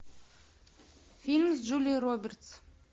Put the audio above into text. фильм с джулией робертс